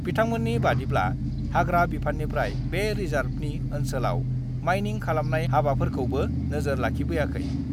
बिथांमोननि बादिब्ला, हाग्रा बिफाननिफ्राय बे रिजार्भनि ओन्सोलाव माइनिं खालामनाय हाबाफोरखौबो नोजोर लाखिबोयाखै।